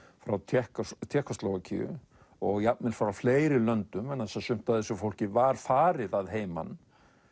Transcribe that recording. frá Tékkóslóvakíu Tékkóslóvakíu og jafnvel frá fleiri löndum vegna þess að sumt af þessu fólki var farið að heiman